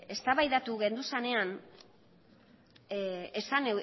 eztabaidatu genduzanean esan